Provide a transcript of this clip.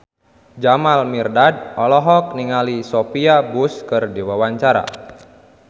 Jamal Mirdad olohok ningali Sophia Bush keur diwawancara